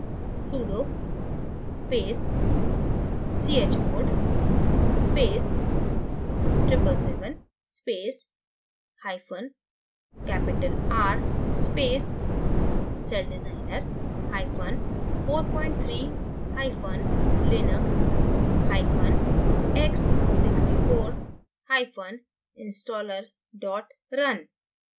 sudo space chmod space 777 space hyphen capital r space celldesigner hyphen 43 hyphen linux hyphen x64 hyphen installer run